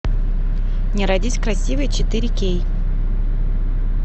не родись красивой четыре кей